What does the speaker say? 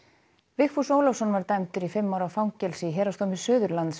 Vigfús Ólafsson var dæmdur í fimm ára fangelsi í Héraðsdómi Suðurlands